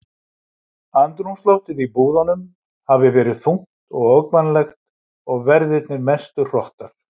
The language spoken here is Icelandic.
Andrúmsloftið í búðunum hafi verið þungt og ógnvænlegt og verðirnir mestu hrottar.